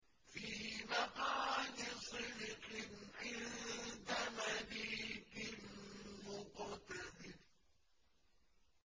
فِي مَقْعَدِ صِدْقٍ عِندَ مَلِيكٍ مُّقْتَدِرٍ